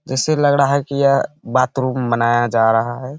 जैसे लग रहा है कि यह बाथरूम बनाया जा रहा है।